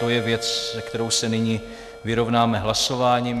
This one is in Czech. To je věc, se kterou se nyní vyrovnáme hlasováním.